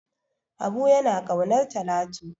Habu yana ƙaunar Talatu.